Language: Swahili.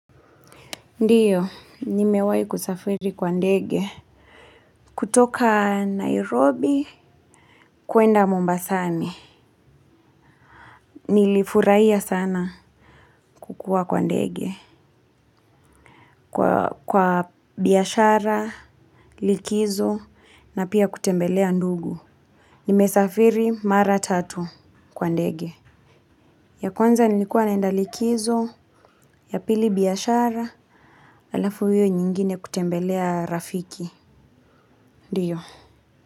Ndiyo nimewahi kusafiri kwa ndege. Kutoka Nairobi, kuenda Mombasani. Nilifurahia sana kukua kwa ndege. Kwa biashara, likizo, na pia kutembelea ndugu. Nimesafiri mara tatu kwa ndege. Ya kwanza nilikuwa naenda likizo, ya pili biashara, alafu hiyo nyingine kutembelea rafiki. Ndiyo.